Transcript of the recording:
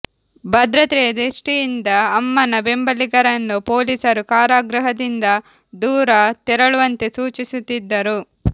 ಭದ್ರತೆಯ ದೃಷ್ಟಿಯಿಂದ ಅಮ್ಮನ ಬೆಂಬಲಿಗರನ್ನು ಪೊಲೀಸರು ಕಾರಾಗೃಹದಿಂದ ದೂರ ತೆರಳುವಂತೆ ಸೂಚಿಸುತ್ತಿದ್ದರು